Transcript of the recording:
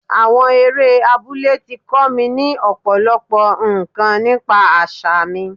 Àwọn eré abúlé tí kọ́ mi ní Ọ̀pọ̀lọ́pọ̀ ǹkan nípa àṣà mi.